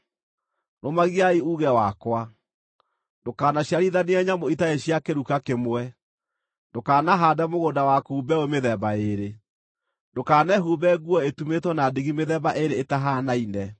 “ ‘Rũmagiai uuge wakwa. “ ‘Ndũkanaciarithanie nyamũ itarĩ cia kĩruka kĩmwe. “ ‘Ndũkanahaande mũgũnda waku mbeũ mĩthemba ĩĩrĩ. “ ‘Ndũkanehumbe nguo ĩtumĩtwo na ndigi mĩthemba ĩĩrĩ ĩtahaanaine.